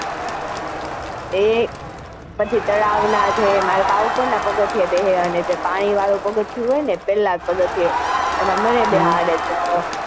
એ પછી તળાવ નાં જે માર બા ઉપર નાં પગથીયે બેસે અને જે પાણી વાળું પગીઅથીયું હોય ને પેલા જ ઉપર્વાળું એમાં મને બેસાડે.